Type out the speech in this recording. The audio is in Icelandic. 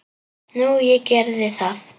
Nú, ég gerði það.